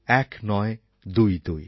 ১৯২২ ১৯২২